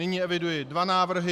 Nyní eviduji dva návrhy.